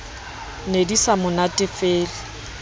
ne di sa mo natefele